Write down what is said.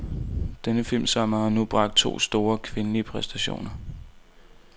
Denne filmsommer har nu bragt to store, kvindelige præstationer.